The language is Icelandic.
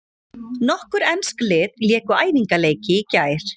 Nokkur ensk lið léku æfingaleiki í gær.